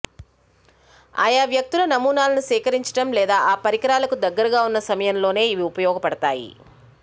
ఆయా వ్యక్తుల నమూనాలు సేకరించడం లేదా ఆ పరికరాలకు దగ్గరగా ఉన్న సమయంలోనే ఇవి ఉపయోగపడతాయి